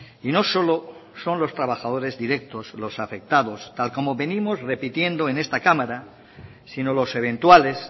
y no solo son los trabajadores directos los afectados tal como venimos repitiendo en esta cámara sino los eventuales